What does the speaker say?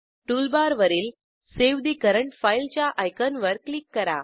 टूलबारवरील save the current फाईलच्या आयकॉनवर क्लिक करा